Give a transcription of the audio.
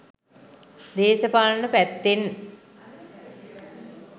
දේශපාලන පැත්තෙන්